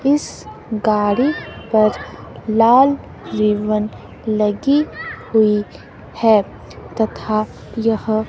इस गाड़ी पर लाल रिबन लगी हुई है तथा यह--